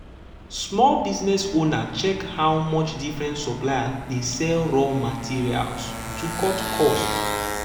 small business owner check how much different suppliers dey um sell raw raw materials to cut cost.